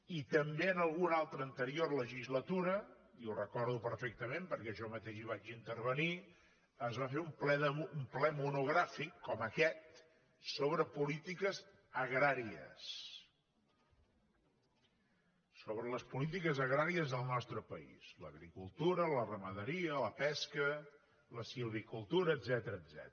i també en alguna altra anterior legislatura i ho recordo perfectament perquè jo mateix hi vaig intervenir es va fer un ple monogràfic com aquest sobre polítiques agràries sobre les polítiques agràries del nostre país l’agricultura la ramaderia la pesca la silvicultura etcètera